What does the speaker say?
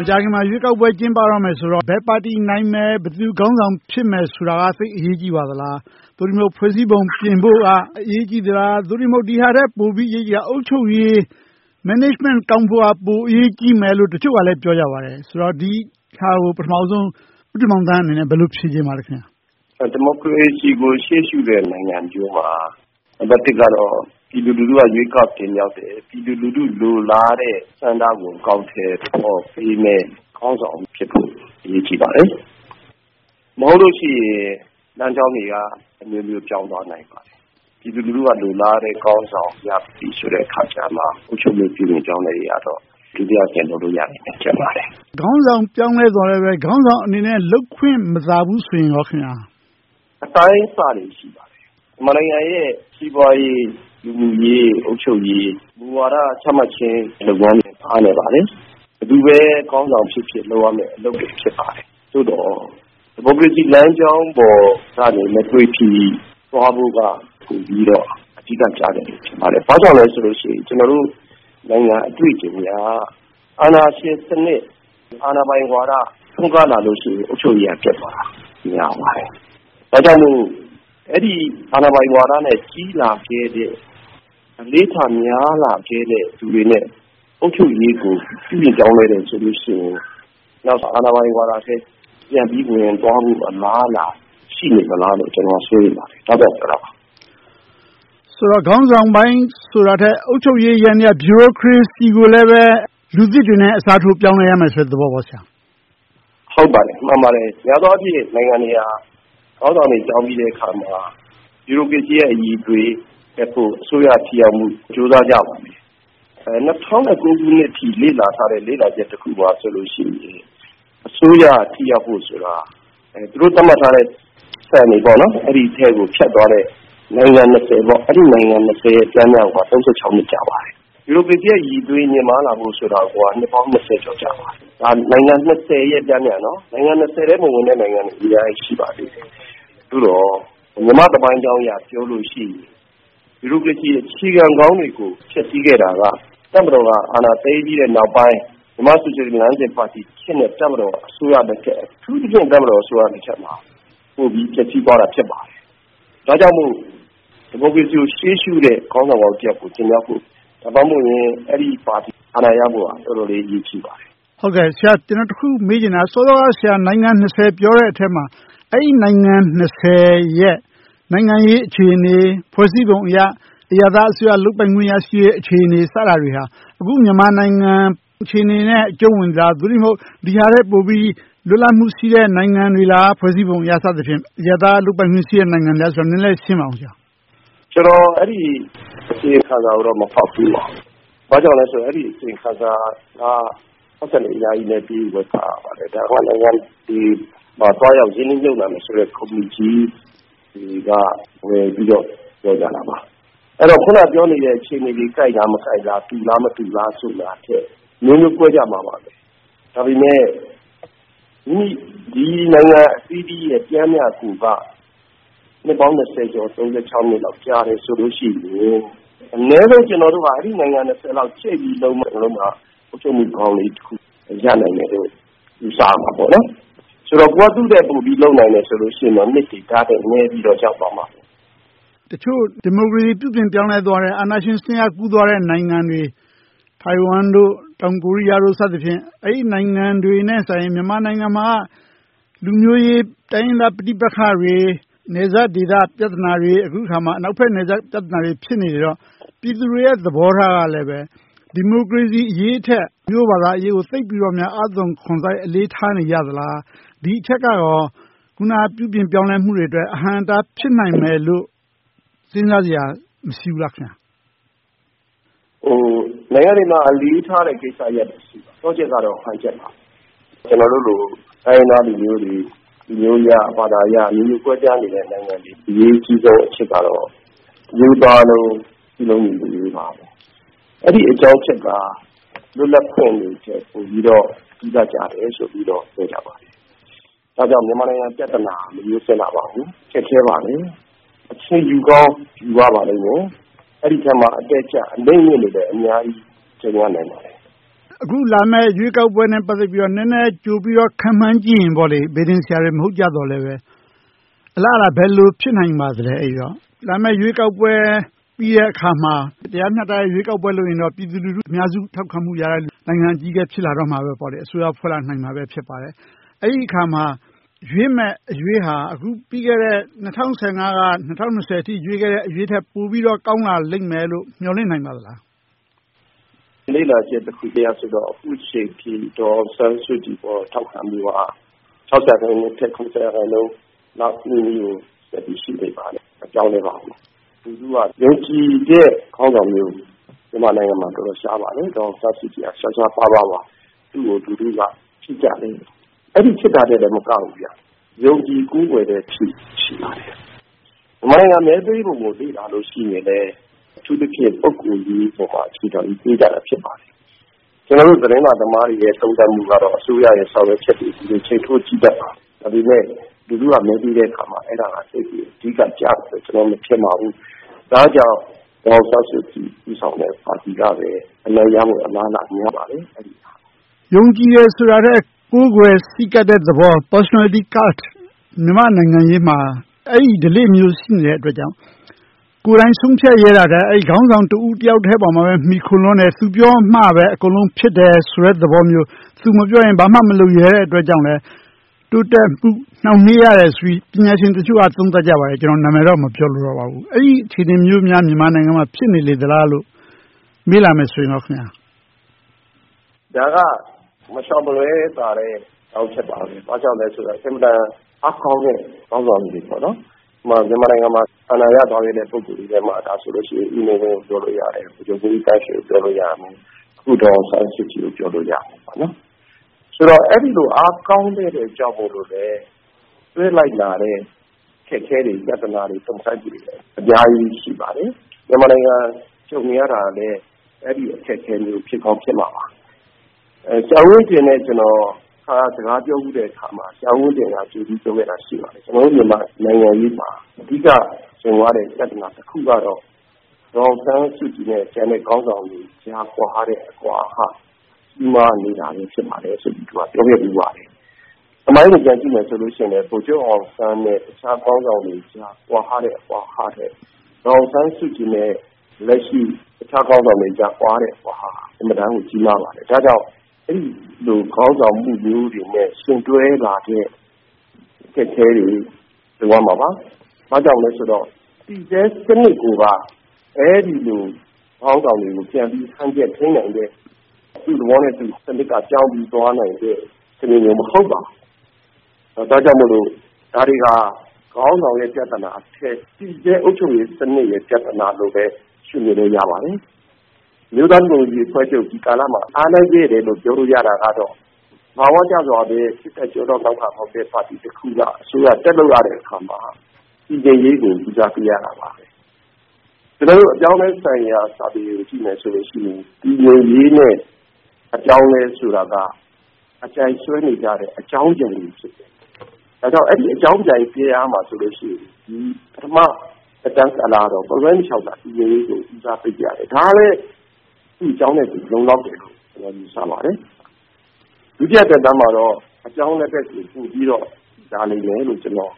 မကြာခင်မှာ ရွေးကောက်ပွဲကျင်းပတော့မယ်ဆိုတော့ ဘယ်ပါတီနိုင်မယ်။ ဘယ်သူခေါင်းဆောင်ဖြစ်မယ်ဆိုတာ သိပ်အရေးကြီးပါသလား။ သို့တည်းမဟုတ် ဖွဲ့စည်းပုံပြင်ဖို့က အရေးကြီးပါသလား။ သို့တည်းမဟုတ် ဒီဟာထက် ပိုအရေးကြီးတာ အုပ်ချုပ်ရေး စီမံခန့်ခွဲမှုက ပိုအရေးကြီးတယ်လို့ တချို့ကလည်း ပြောကြပါတယ်။ ဆိုတော့ ဒီဟာကို ပထမဦးဆုံး ဦးတင်မောင်သန်းအနေနဲ့ ဘယ်လိုဖြေချင်ပါလဲ။ ဒီမိုကရေစီကို ရှေ့ရှုတဲ့နိုင်ငံတွင်းမှာ ပြည်သူလူထုက ရွေးကောက်တင်မြှောက်တဲ့၊ ပြည်သူလူထုလိုလာတဲ့ ဆန္ဒကို အကောင်အထည်ဖော်ပေးမယ့် ခေါင်းဆောင်ဖြစ်ဖို့ အရေးကြီးပါတယ်။ မဟုတ်လို့ရှိရင် လမ်းကြောင်းတွေက အမျိုးမျိုးပြောင်းသွားနိုင်ပါတယ်။ ပြည်သူလူထုက လိုလားတဲ့ခေါင်းဆောင်ရပြီးမှ အုပ်ချုပ်မှုပြုပြင်ပြောင်းလဲရေးကတော့ လုပ်လို့ရမယ်ထင်ပါတယ်။ ခေါင်းဆောင်ပြောင်းသွားပေမယ့် ခေါင်းဆောင်အနေနဲ့ လုပ်ခွင့်မသာဘူးဆိုရင်ကော… အတိုင်းအဆတွေ ရှိပါတယ်။ မြန်မာနိုင်ငံရဲ့ စီးပွားရေး၊ လူမှုရေး၊ အုပ်ချုပ်ရေး၊ မူဝါဒချမှတ်ခြင်း လုပ်ငန်းစဉ်တွေ အားနည်းပါတယ်။ ဘယ်သူပဲခေါင်းဆောင်ဖြစ်ဖြစ် လုပ်ရမယ့် အလုပ်တွေ ဖြစ်ပါတယ်။ သို့သော် ဒီမိုကရေစီလမ်းကြောင်းပေါ်ကနေ မသွေဖယ်ရေးက ပိုပြီးတော့ အဓိကကျပါတယ်။ ဘာကြောင့်လဲဆိုရင် ကျနော်တို့နိုင်ငံ အတွေ့အကြုံအရ အာဏာရှင်စနစ်၊ အာဏာရှင်ဝါဒ ထွန်းကားလာလို့ရှိရင် အုပ်ချုပ်ရေးက ပျက်သွားပါတယ်။ ဒါကြောင့်မို့ အဲဒီအာဏာပိုင်ဝါဒနဲ့ ကြီးလာခဲ့တဲ့ အလေ့အထများလာခဲ့တဲ့ လူတွေနဲ့ အုပ်ချုပ်ရေးကို ပြုပြင်ပြောင်းလဲတယ်ဆိုလို့ရှိရင် နောက်မှာ အာဏာပိုင်ဝါဒထဲ ပြန်ပြီးဝင်သွားဖို့ အလားအလာများ ရှိလေမလားလို့ ကျနော်က စိုးရိမ်ပါတယ်။ ဒါကြောင့် ပြောတာပါ။ ဆိုတော့ ခေါင်းဆောင်ပိုင်းဆိုတာထက် အုပ်ချုပ်ပိုင်းယန္တရားဗျူရိုကရေစီကိုလည်း လူသစ်တွေနဲ့ အစားထိုးပြောင်းလဲရမယ်ဆိုတဲ့ သဘောလား။ ဟုတ်ပါတယ်။ မှန်ပါတယ်။ များသောအားဖြင့် နိုင်ငံတွေဟာ ခေါင်းဆောင်တွေ ပြောင်းပြီးတဲ့အခါမှာ ဗျူရိုကရေစီရဲ့ အရည်အသွေးတက်ဖို့ အစိုးရထိရောက်မှုအတွက် ကြိုးစားကြရပါတယ်။ ၂၀၀၉ ခုနှစ်အထိ လေ့လာထားတဲ့ လေ့လာချက်တခုမှာဆိုရင် အစိုးရထိရောက်ဖို့ဆိုတာ သူတို့သတ်မှတ်ထားတဲ့စံတွေ အဲဒီထဲကိုဖြတ်သွားတဲ့ နိုင်ငံ အဲဒီနိုင်ငံတွေရဲ့ ပျမ်းမျှကိုက နှစ် ကြာပါတယ်။ ဗျူရိုကရေစီရဲ့ အရည်အသွေးမြင့်မားလာဖို့ဆိုတာကိုက နှစ်ပေါင်း ကြာပါတယ်။ ဒါကနိုင်ငံ ရဲ့ ပျမ်းမျှကိုပြောတာ။ အဲဒီ ထဲ မဝင်တဲ့နိုင်ငံတွေ အများကြီးရှိပါတယ်။ သို့သော် မြန်မာ့သမိုင်းကြောင်းအရ ပြောလို့ရှိရင် ဗျူရိုကရေစီအခြေခံကောင်းတွေကို ဖျက်ဆီးခဲ့တာက တပ်မတော်က အာဏာသိမ်းပြီးတဲ့နောက်ပိုင်း၊ မြန်မာ့ဆိုရှယ်လစ်လမ်းစဉ်ပါတီခေတ်နဲ့ တပ်မတော်အစိုးရလက်ထက်မှာ ပိုပြီးပျက်ဆီးသွားတာ ဖြစ်ပါတယ်။ ဒါကြောင့်မို့ ဒီမိုကရေစီကို ရှေ့ရှုတဲ့ခေါင်းဆောင်ကောင်းတယောက်ကို တင်မြှောက်ဖို့ ဒါမှမဟုတ် အဲဒီပါတီ အာဏာရဖို့က တော်တော်လေးအရေးကြီးပါတယ်။ ကျနော် တခုမေးချင်တာက စောစောကပြောတဲ့ နိုင်ငံ ထဲမှာ အဲဒီနိုင်ငံ ရဲ့ နိုင်ငံရေးအခြေအနေ၊ ဖွဲ့စည်းပုံအရ အရပ်သားအစိုးရ လုပ်ပိုင်ခွင့်ရရှိတဲ့ အခြေအနေ စတာတွေဟာ အခုမြန်မာနိုင်ငံအခြေအနေနဲ့ အကြုံဝင်နေပြီလား။ သို့တည်းမဟုတ် ဒီဟာထက်ပိုပြီး လွတ်လပ်မှုရှိတဲ့ နိုင်ငံတွေလား။ ဖွဲ့စည်းပုံအရ စသဖြင့် အရပ်သားလုပ်ပိုင်ခွင့် ရှိတဲ့နိုင်ငံတွေလားဆိုတာကို နည်းနည်းရှင်းပြပါ။ ကျနော် အဲဒီအစီရင်ခံစာကိုတော့ မဖတ်ဖူးပါဘူး။ ဘာကြောင့်လဲဆိုတော့ အဲဒီအစီရင်ခံစာက ပိုက်ဆံတွေအများကြီးပေးပြီး ဝယ်ဖတ်ရပါတယ်။ ဒါက နိုင်ငံတွေမှာ သွားရောက်ရင်းနှီးမြုပ်နံှမယ်ဆိုတဲ့ ကုမ္ပဏီကြီးတွေက ဝယ်ယူပြီးတော့ ပြောကြတာပါ။ အဲဒီတော့ အခုနပြောနေတဲ့ အခြေအနေတွေ ကိုက်လား၊ မကိုက်လား။ တူလား၊ မတူလား ဆိုတာထက် အမျိုးမျိုးကွဲကြမှာပါ။ ဒါပေမဲ့ ဒီနိုင်ငံအသီးသီးရဲ့ ပျမ်းမျှကိုယ်က နှစ်ပေါင်း ကျော်၊ နှစ်လောက် ကြာတယ်ဆိုလို့ရှိရင် အနည်းဆုံး ကျနော်တို့က အဲဒီနိုင်ငံ လောက် ဖြည့်ပြီးလုပ်မှ အုပ်ချုပ်မှုကောင်းလေးတခုလောက် ရနိုင်မယ်လို့ ယူဆရမှာပေါ့။ ဆိုတော့ ကိုယ်က သူထက်ပိုပြီးလုပ်နိုင်မယ်ဆိုရင်တော့ နှစ်တွေဒါထက်နည်းပြီး ရောက်သွားမှာပါ။ တချို့ ဒီမိုကရေစီ ပြုပြင်ပြောင်းလဲသွားတဲ့ အာဏာရှင်စနစ်က ကူပြောင်းသွားတဲ့ နိုင်ငံတွေ ထိုင်ဝမ်၊ တောင်ကိုးရီးယား စသဖြင့် အဲဒီနိုင်ငံတွေထက်စာရင် မြန်မာနိုင်ငံမှာက လူမျိုးရေး၊ တိုင်းရင်းသား ပဋိပက္ခတွေ၊ နယ်စပ်ဒေသ ပြဿနာတွေ၊ အခုအခါမှာ အနောက်ဘက်နယ်စပ်ပြဿနာတွေ ဖြစ်နေလေတော့ ပြည်သူတွေရဲ့ သဘောထားကလည်း ဒီမိုကရေစီအရေးထက် လူမျိုးဘာသာရေးကို သိပ်ပြီးတော့ အားသွန်ခွန်စိုက် အလေးထားနေကြသလား။ ဒီအချက်ကကော အခုန ပြုပြင်ပြောင်းလဲမှုတွေအတွက် အဟန့််အတား ဖြစ်နိုင်မယ်လို့ စဉ်းစားစရာ မရှိဘူးလား။ နိုင်ငံတွေမှာ အလေးထားတဲ့ကိစ္စရပ်တွေ ရှိပါတယ်။ သော့ချက်ကတော့ ဟန်ချက်ပါ။ ကျနော်တို့လို တိုင်းရင်းသားလူမျိုးတွေ၊ လူမျိုးအရ ဝါဒအရ အမျိုးမျိုးကွဲပြားနေတဲ့ နိုင်ငံတွေရဲ့ အရေးကြီးဆုံးအချက်ကတော့ တမျိုးသားလုံး စည်းလုံးညီညွှတ်ရေးပါ။ အဲဒီအကြောင်းအချက်က လွတ်လပ်ခွင့်တွေထက် ပိုပြီးတော့ အဓိကကျတယ်ဆိုပြီးတော့ ပြောကြပါတယ်။ ဒါကြောင့် မြန်မာနိုင်ငံရဲ့ ပြဿနာက မရိုးစင်လှပါဘူး။ ခက်ခဲပါတယ်။ အချိန်ယူကောင်း ယူရပါလိမ့်မယ်။ အဲဒီအထဲမှာ အတက်အကျ၊ အနိမ့်အမြင့်တွေလည်း အများကြီး ကြုံရနိုင်ပါတယ်။ အခုလာမယ့် ရွေးကောက်ပွဲနဲ့ ပတ်သက်ပြီးတော့ နည်းနည်းကြိုပြီးတော့ ခန့်မှန်းကြည့်ရင်- ဗေဒင်ဆရာတွေ မဟုတ်ကြပေမယ့်လဲ အလားအလာ ဘယ်လိုဖြစ်လာနိုင်ပါသလဲ။ လာမယ့် ရွေးကောက်ပွဲပြီးတဲ့အခါမှာ တရားမျှတတဲ့ ရွေးကောက်ပွဲလုပ်ရင်တော့ ပြည်သူလူထု ထောက်ခံမှုရတဲ့ နိုင်ငံအကြီးအကဲ ဖြစ်လာမယ်။ အစိုးရဖွဲ့လာနိုင်မှာ ဖြစ်ပါတယ်။ အဲဒီအခါမှာ ရွေ့တဲ့အရွေ့က အခုပြီးခဲ့တဲ့ ၂၀၁၅-၂၀၂၀ အထိ ရွေ့ခဲ့တဲ့ အရွေ့ထက် ပိုပြီးတော့ ကောင်းလာလိမ့်မယ်လို့ မျှော်လင့်နိုင်ပါသလား။ လေ့လာချက်တခုအရတော့ အခုအချိန်အထိ ဒေါ်အောင်ဆန်းစုကြည်ပေါ် ထောက်ခံမှုက ရာခိုင်နှုန်းအထက် ရာခိုင်နှုန်းလောက်နီးနီးကို ရှိနေပါတယ်။ မပြောင်းလဲပါဘူး။ လူထုက ယုံကြည်တဲ့ခေါင်းဆောင်မျိုး မြန်မာနိုင်ငံမှာ တော်တော်ရှားပါတယ်။ ဒေါ်အောင်ဆန်းစုကြည်က ရှားရှားပါးပါးပါ။ သူကို လူထုကချစ်ကြတယ်။ အဲဒီလိုချစ်တာထက်မကဘူး၊ ယုံကြည်ကိုးကွယ်တဲ့အထိ ရှိပါတယ်။ မြန်မာနိုင်ငံ မဲပေးပုံကိုလည်း လေ့လာကြည့်မယ်ဆိုရင် အထူးသဖြင့် ပုဂ္ဂိုလ်ရေးပေါ် အခြေခံပြီး ပေးကြတာဖြစ်ပါတယ်။ ကျနော်တို့ သတင်းစာသမားတွေရဲ့ သုံးသပ်မှုကတော့ အစိုးရရဲ့ ဆောင်ရွက်ချက်တွေနဲ့ ချိန်းထိုးကြည့်တတ်ပါတယ်။ ဒါပေမဲ့ လူထုက မဲပေးတဲ့အခါမှာ အဲဒါတွေ အဓိကကျမယ်လို့ ကျနော်မထင်ပါဘူး။ ဒါကြောင့် ဒေါ်အောင်ဆန်းစုကြည် ဦးဆောင်တဲ့ပါတီကပဲ အနိုင်ရဖို့ အလားအလာများပါတယ်။ ယုံကြည်တယ်ဆိုတာထက် ကိုးကွယ်ဆည်းကပ်တဲ့သဘော personality cult မြန်မာ့နိုင်ငံရေးမှာ အဲဒီဓလေ့မျိုး ရှိနေတဲ့အတွက်ကြောင့် ကိုယ်တိုင်ဆုံးဖြတ်ရဲတာထက် အဲဒီခေါင်းဆောင် တဦးတယောက်ပေါ်မှာပဲ မှီခိုလွန်တယ်။ သူပြောတာမှပဲ အကုန်လုံးဖြစ်တယ်ဆိုတဲ့ သဘောမျိုး။ သူမပြောရင် ဘာမှမလုပ်ရဲတဲ့အတွက်ကြောင့်လဲ တိုးတက်မှုနှောင့်နှေးရတယ်ဆိုပြီး ပညာရှင်တချို့က သုံးသပ်ကြပါတယ်။ ကျနော်နာမည်တော့ မပြောလိုတော့ပါဘူး။ အဲဒီအခြေအနေမျိုးများ မြန်မာနိုင်ငံမှာ ဖြစ်နေလေသလားလို့ မေးလာမယ်ဆိုရင် ဘာပြောမလဲ။ ဒါက မရှောင်မလွှဲသာတဲ့ အကြောင်းအချက်ပါပဲ။ ဘာကြောင့်လဲဆိုတော့ အင်မတန်အားကောင်းတဲ့ ခေါင်းဆောင်ကြီးတွေပေါ့ - ဥပမာ မြန်မာနိုင်ငံမှာ အာဏာရသွားတဲ့ ပုဂ္ဂိုလ်တွေထဲမှာဆိုရင် ဦးနေဝင်း၊ ဗိုလ်ချုပ်မှူးကြီးသန်းရွှေ နဲ့ အခု ဒေါ်အောင်ဆန်းစုကြည်တို့ကို ပြောလို့ရတယ်။ ဆိုတော့ အဲဒီလို အားကောင်းခဲ့တာကြောင့်မို့လို့လဲ တွဲလိုက်လာတဲ့ အခက်အခဲတွေ၊ ပြဿနာတွေ၊ တုန့်ဆိုင်းမှုတွေ အများကြီးရှိပါတယ်။ မြန်မာနိုင်ငံ ကြုံနေရတာလဲ အဲဒီ အခက်အခဲမျိုးတွေ ဖြစ်ကောင်းဖြစ်မှာပါ။ ဆရာဦးဝင်းတင်နဲ့ တခါ စကားပြောဖူးတဲ့အခါမှာ ဆရာဦးဝင်းတင်က ကြိုပြီးပြောခဲ့တာ ရှိပါတယ်။ ကျနော်တို့မြန်မာနိုင်ငံရေးမှာ အဓိကကြုံရတဲ့ ပြဿနာတခုကတော့ ဒေါ်အောင်ဆန်းစုကြည်နဲ့ ကျန်တဲ့ခေါင်းဆောင်တွေကြား ကွာဟတဲ့ အကွာအဟ ကြီးမားနေတာပဲ ဖြစ်ပါတယ်ဆိုပြီး ပြောခဲ့ဖူးပါတယ်။ သမိုင်းကိုပြန်ကြည့်မယ်ဆိုရင်လဲ ဗိုလ်ချုပ်အောင်ဆန်းနဲ့ အခြားခေါင်းဆောင်တွေကြား ကွာဟတဲ့ အကွာအဟထက် ဒေါ်အောင်ဆန်းစုကြည်နဲ့ လက်ရှိအခြားခေါင်းဆောင်တွေကြား ကွာဟတဲ့ အကွာအဟက အင်မတန်ကို ကြီးမားပါတယ်။ ဒါကြောင့်မို့ အဲဒီလို ခေါင်းဆောင်မှုမျိုးတွေနဲ့ ယှဉ်တွဲလာတဲ့ အခက်အခဲတွေ ကြုံရမှာပါ။ ဘာကြောင့်လဲဆိုတော့ တည်ဆဲစနစ်ကိုက အဲဒီလို ခေါင်းဆောင်တွေကို ပြန်ပြီးဟန်ချက်ထိန်းနိုင်တဲ့ သူ့သဘောနဲ့သူ စနစ်ကပြောင်းပြီး သွားနိုင်တဲ့ စနစ်မျိုး မဟုတ်ပါဘူး။ ဒါကြောင့်မို့ ဒါတွေဟာ ခေါင်းဆောင်ရဲ့ ပြဿနာထက် တည်ဆဲအုပ်ချုပ်ရေးစနစ်ရဲ့ ပြဿနာလို့ပဲ ရှုမြင်လို့ရပါတယ်။ အမျိုးသားဒီမိုကရေစီအဖွဲ့ချုပ်က ဒီကာလမှာ အားနည်းခဲ့တယ်လို့ ပြောလို့ရတာကတော့ သဘာဝကျစွာပဲ စစ်တပ်ကျောထောက်နောက်ခံ မဟုတ်တဲ့ ပါတီတခုက အစိုးရလုပ်ရတဲ့အခါမှာ တည်ငြိမ်ရေးကို ဦးစားပေးရပါတယ်။ အပြောင်းအလဲဆိုင်ရာ စာပေတွေကို ကြည့်မယ်ဆိုရင် တည်ငြိမ်ရေးနဲ့ အပြောင်းအလဲဆိုတာ အပြိုင်ဆွဲနေကြတဲ့ အကြောင်းပြိုင်တွေဖြစ်တယ်။ အဲဒါကြောင့် အဲဒီအကြောင်းပြိုင်ဇယားမှာဆိုရင် ပထမသက်တမ်းကာလကတော့ မလွှဲမရှောင်သာ တည်ငြိမ်ရေးကို ဦးစားပေးကြတယ်။ ဒါကလဲ သူ့အကြောင်းနဲ့သူ လုံလောက်တယ်လို့ ယူဆပါတယ်။ ဒုတိယသက်တမ်းမှာတော့ ပြောင်းလဲရေးဘက်ကို လာလိမ့်မယ်လို့ ကျနော်